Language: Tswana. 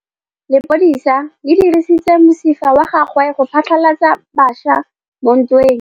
Lepodisa le dirisitse mosifa wa gagwe go phatlalatsa batšha mo ntweng.